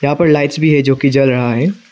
यहां पर लाइट्स भी है जोकी जल रहा है।